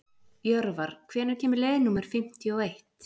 Jörvar, hvenær kemur leið númer fimmtíu og eitt?